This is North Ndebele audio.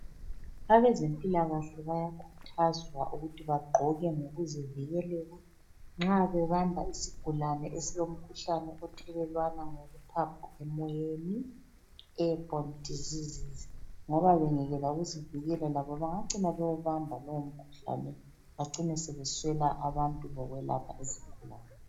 Abezempilakahle bayakhuthazwa ukuthi bagqoke ngokuzivikelela nxa bebamba isigulane esilomkhuhlane othelelwana ngokuphapha emoyeni, (Airbone diseases), ngoba bengekela ukuzikela labo bangacina bewubamba lowomkhuhlane bacine sebeswela abantu bokwelapha izigulane.